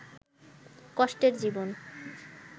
কষ্টের জীবন